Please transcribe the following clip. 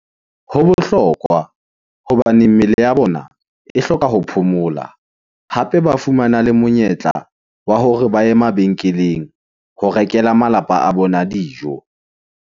Ho bohlokwa hobane mmele ya bona e hloka ho phomola. Hape ba fumana le monyetla wa hore ba ye mabenkeleng ho rekela malapa a bona dijo.